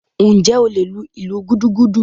Njẹ o le lú ìlú gúdúgúdú?